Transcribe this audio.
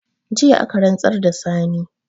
Jiya aka rantsar da Sani